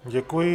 Děkuji.